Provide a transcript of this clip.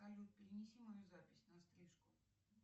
салют перенеси мою запись на стрижку